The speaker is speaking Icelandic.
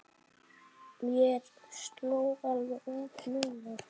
Mér sló alveg út núna.